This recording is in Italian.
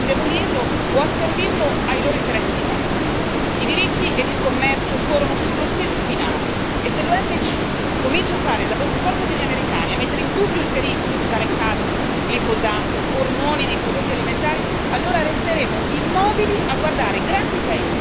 I diritti e il commercio corrono sullo stesso binario e, se l'OMC comincia a fare il lavoro sporco degli americani e a mettere in dubbio il pericolo di usare cadmio, glifosato e ormoni nei prodotti alimentari, allora resteremo immobili a guardare grandi paesi come Stati Uniti o Cina a distruggere le nostre leggi.